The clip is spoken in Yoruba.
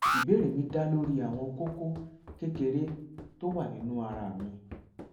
ìbéèrè mi dá lórí àwọn kókó kékeré tó wà nínú ara mi